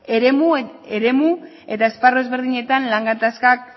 eremu eta esparru ezberdinetan lan gatazkak